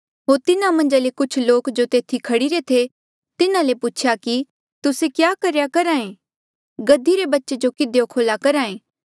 होर तिन्हा मन्झा ले कुछ लोके जो तेथी खड़ीरे थे तिन्हा ले पूछेया कि तुस्से क्या करेया करहा ऐें गधी री बच्चे जो किधियो खोल्ह्या करहा ऐें